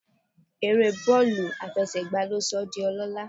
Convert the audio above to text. Eré bọ́ọ̀lù àfẹsẹ̀gbá ló sọ ọ́ di ọlọ́lá